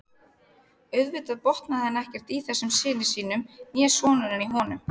Auðvitað botnaði hann ekkert í þessum syni sínum né sonurinn í honum.